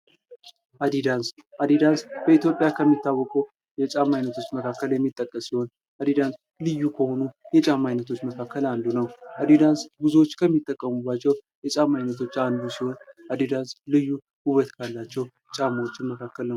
አዲዳስ፤ አዲዳስ በኢትዮጵያ ከሚታወቁ የጫማ ዓይነቶች መካከል የሚጠቀስ ሲሆን ልዩ ከሆኑ ጫማ አይነቶች መካከል አንዱ ነው። አዲዳስ ብዞዎች ከሚጠቀሙባቸው የጫማ አይነቶች አንዱ ሲሆን አዲዳስ ልዩ ውበት ካላቸው ጫማዎችም መካከል ነው።